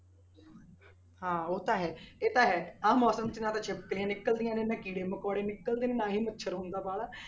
ਹਾਂ ਉਹ ਤਾਂ ਹੈ ਇਹ ਤਾਂ ਹੈ ਆਹ ਮੌਸਮ 'ਚ ਨਾ ਤਾਂ ਛਿਪਕਲੀਆਂ ਨਿਕਲਦੀਆਂ ਨੇ, ਨਾ ਕੀੜੇ ਮਕੌੜੇ ਨਿਕਲਦੇ ਨੇ, ਨਾ ਹੀ ਮੱਛਰ ਹੁੰਦਾ ਵਾਲਾ।